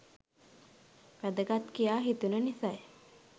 වැදගත් කියා හිතුණු නිසයි.